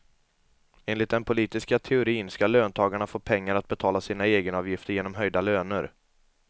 Enligt den politiska teorin ska löntagarna få pengar att betala sina egenavgifter genom höjda löner.